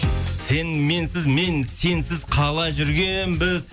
сен менсіз мен сенсіз қалай жүргенбіз